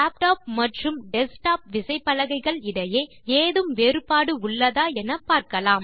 laptop மற்றும் desktop விசைப்பலகைகள் இடையே ஏதும் வேறுபாடு உள்ளதா என பார்க்கலாம்